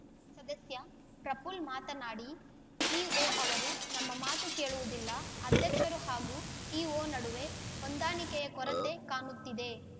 ಸದಸ್ಯ ಪ್ರಪುಲ್ಲ ಮಾತನಾಡಿ ಇಒ ಅವರು ನಮ್ಮ ಮಾತು ಕೇಳುವುದಿಲ್ಲ ಅಧ್ಯಕ್ಷರು ಹಾಗೂ ಇಒ ನಡುವೆ ಹೊಂದಾಣಿಕೆಯ ಕೊರತೆ ಕಾಣುತ್ತಿದೆ